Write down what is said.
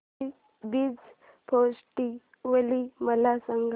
पुरी beach festival मला सांग